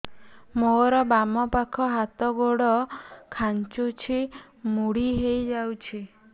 ମୋର ବାମ ପାଖ ହାତ ଗୋଡ ଖାଁଚୁଛି ମୁଡି ହେଇ ଯାଉଛି